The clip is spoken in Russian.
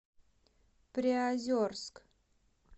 приозерск